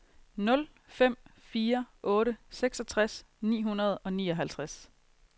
nul fem fire otte seksogtres ni hundrede og nioghalvtreds